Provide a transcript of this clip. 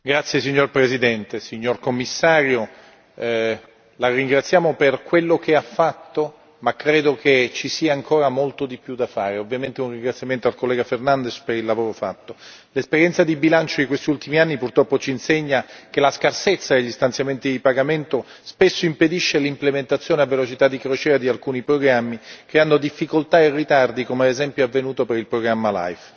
Signor Presidente, onorevoli colleghi, signor Commissario, la ringraziamo per quello che ha fatto, ma credo che ci sia ancora molto di più da fare. Ovviamente, un ringraziamento al collega Fernandes per il lavoro svolto. L'esperienza di bilancio di questi ultimi anni purtroppo ci insegna che la scarsezza degli stanziamenti di pagamento spesso impedisce l'implementazione a velocità di crociera di alcuni programmi che hanno difficoltà e ritardi, come ad esempio è avvenuto per il programma LIFE.